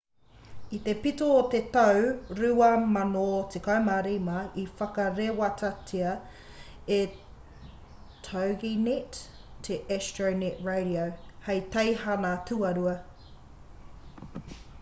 i te pito o te tau 2015 i whakarewatia e toginet te astronet radio hei teihana tuarua